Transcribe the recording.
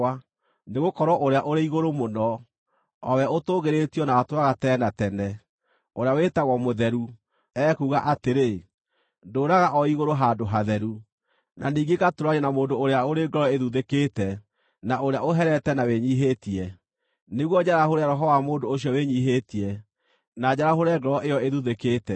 Nĩgũkorwo Ũrĩa-Ũrĩ-Igũrũ Mũno, o We ũtũũgĩrĩtio na ũtũũraga tene na tene, ũrĩa wĩtagwo mũtheru; ekuuga atĩrĩ: “Ndũũraga o igũrũ handũ hatheru, na ningĩ ngatũũrania na mũndũ ũrĩa ũrĩ ngoro ĩthuthĩkĩte, na ũrĩa ũherete na wĩnyiihĩtie, nĩguo njarahũre roho wa mũndũ ũcio wĩnyiihĩtie, na njarahũre ngoro ĩyo ĩthuthĩkĩte.